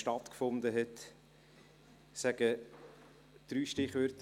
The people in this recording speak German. Ich nenne dazu drei Stichworte.